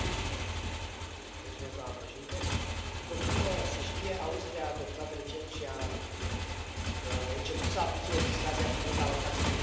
Doamna președintă, după cum se știe, Austria a adoptat recent și a început să aplice legislația privind alocațiile pentru copii nerezidenți.